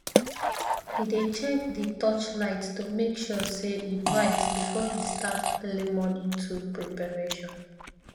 he dey check di torchlight to make sure say e bright before he he start early morning tool preparation